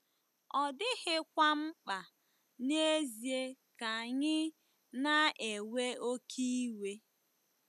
Ọ dịghịkwa mkpa n'ezie ka anyị 'na-ewe oké iwe.